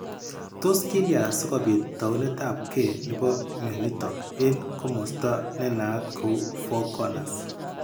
Tos kilya sikobit tounetabge nebo mionitok eng' komasta nenaat kou Four Corners?